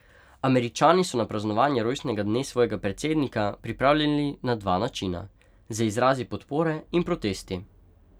Američani so se na praznovanje rojstnega dne svojega predsednika pripravljali na dva načina, z izrazi podpore in protesti.